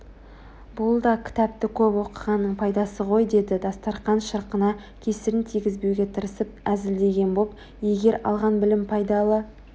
бұл да кітапты көп оқығанның пайдасы ғой деді дастарқан шырқына кесірін тигізбеуге тырысып әзілдеген боп егер алған білім пайдалы